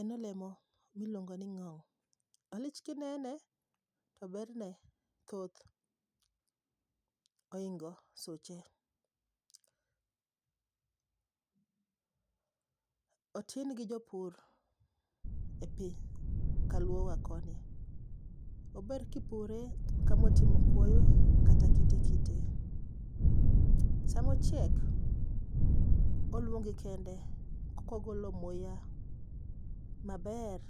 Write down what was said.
En olemo miluongo ni ng'ou. Olich kinene to berne thoth, ohingo suche. Otin gi jopur e piny kaluowa koni. Ober kipure kama otimo kuoyo kata kitekite. Sama ochiek oluongi kende kogolo muya maber